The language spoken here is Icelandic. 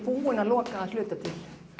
búin að loka að hluta til